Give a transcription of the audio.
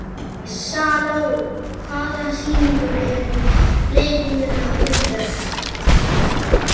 Salome, hvaða sýningar eru í leikhúsinu á fimmtudaginn?